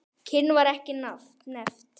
Kyn var ekki nefnt.